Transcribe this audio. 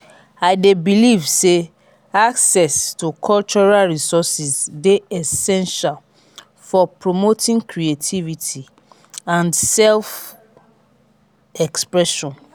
i dey believe say access to cultural resourses dey essential for promoting creativity and self-expression.